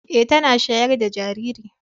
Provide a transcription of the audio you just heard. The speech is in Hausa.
Eh tana shayar da jariri.